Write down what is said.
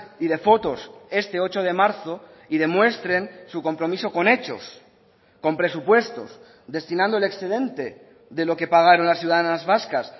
y de fotos este ocho de marzo y demuestren su compromiso con hechos con presupuestos destinando el excedente de lo que pagaron las ciudadanas vascas